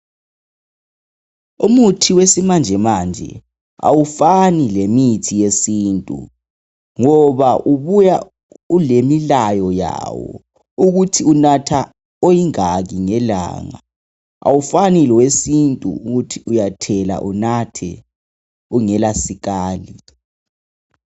Umuthi wesimanje manje awufani lemithi yesintu. Ngoba ubuya ulemilayo yawo ukuthi unatha oyingaki ngelanga. Awufani lowesintu ukuthi uyathela unathe ungela sikali.